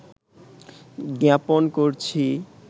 জ্ঞাপন করছি